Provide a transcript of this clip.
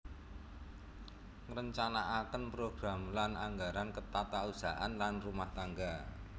Ngrencanakaken program lan anggaran ketatausahaan lan rumah tangga